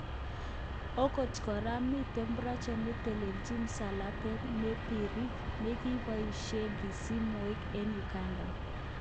Okt kora miten project netelelechin msalabet nebirir nekiboishen kisib mweik eng Uganda.